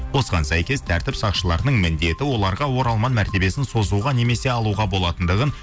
осыған сәйкес тәртіп сақшыларының міндеті оларға оралман мәртебесін созуға немесе алуға болатындығын